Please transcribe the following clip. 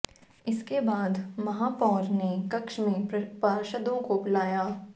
इसके बाद महापौर ने कक्ष में पार्षदों को बुलाया